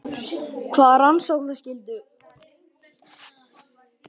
Hvaða rannsóknarskyldu?